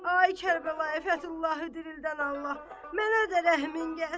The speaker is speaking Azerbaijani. Ay Kərbəlayı Fətullahı dirildən Allah, mənə də rəhmin gəlsin.